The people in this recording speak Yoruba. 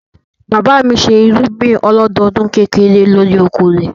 Bàbá mi ṣe irúgbìn ọlọ́dọdún kékeré lórí oko rẹ̀.